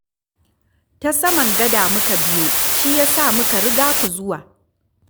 Ta saman gada muka biyo, shi ya sa muka riga ku zuwa